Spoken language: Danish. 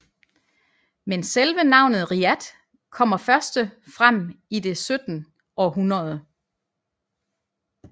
Men selve navnet Riyadh kommer første frem i det 17 århundrede